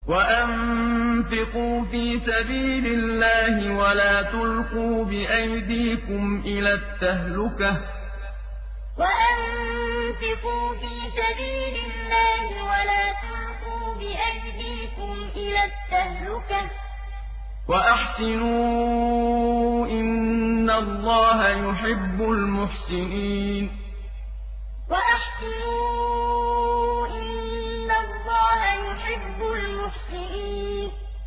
وَأَنفِقُوا فِي سَبِيلِ اللَّهِ وَلَا تُلْقُوا بِأَيْدِيكُمْ إِلَى التَّهْلُكَةِ ۛ وَأَحْسِنُوا ۛ إِنَّ اللَّهَ يُحِبُّ الْمُحْسِنِينَ وَأَنفِقُوا فِي سَبِيلِ اللَّهِ وَلَا تُلْقُوا بِأَيْدِيكُمْ إِلَى التَّهْلُكَةِ ۛ وَأَحْسِنُوا ۛ إِنَّ اللَّهَ يُحِبُّ الْمُحْسِنِينَ